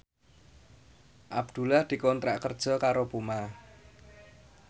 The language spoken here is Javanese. Abdullah dikontrak kerja karo Puma